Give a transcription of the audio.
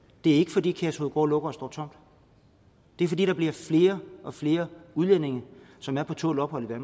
det er ikke fordi kærshovedgård lukker og står tomt det er fordi der bliver flere og flere udlændinge som er på tålt ophold i